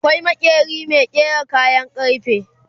akwai maƙeri Mai ƙera kayan karfe